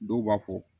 Dɔw b'a fɔ